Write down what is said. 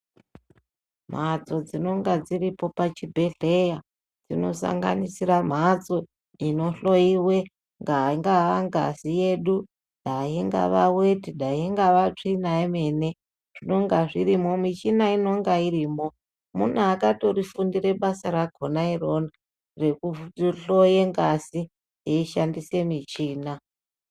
Mhatso dzinonga dziripo pachibhedhleya dzinosanganisira mhatso inohloiwe daa ingava ngazi yedu, daa ingava veti, daa ingava tsvina yemene zvinonga zvirimo michina inonga irimo. Mune akatorifundira basa rakona irona rekuhloye ngazi eishandise michina.